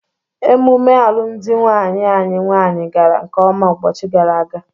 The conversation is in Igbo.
Emume alụmụdi nwanne anyị nwaanyị gara nkeọma ụbọchị gara aga.